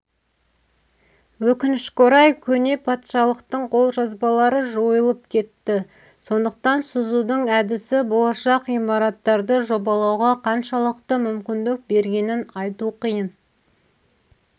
өкінішке орай көне патшалықтың қолжазбалары жойылып кетті сондықтан сызудың әдісі болашақ имараттарды жобалауға қаншалықты мүмкіндік бергенін айту қиын